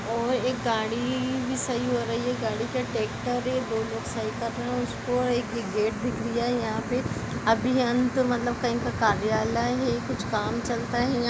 और एक गाड़ी भी सही हो रही है गाडी क्या टैक्टर है दो लोग सही कर रहे है उसको और गेट दिख रहा है यह पर अभियन्त यानी मतलब कही पे कोई कार्यालय है कुछ काम चलता है यहाँ--